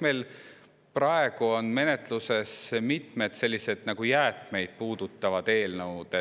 Meil on praegu menetluses mitmed jäätmeid ja rehvijäätmeid puudutavad eelnõud,